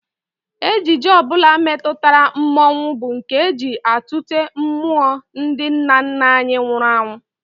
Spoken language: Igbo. Ejije ọ bụla metụtara mmọnwụ bụ nke e ji atụte mmụọ ndị nna nna anyị nwụrụ anwụ